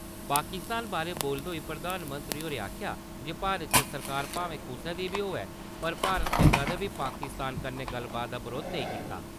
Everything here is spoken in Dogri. पाकिस्तान बारै बोलदे होई प्रधानमंत्री होरें आखेआ जे भारत च सरकार भामें कुसा दी बी होऐ, पर भारत ने कदें बी पाकिस्तान कन्नै गल्लबात दा बरोध नेईं कीता।